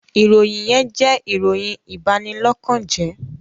ìròyìn yén jẹ́ ìròyìn Ìbanilọ́kànje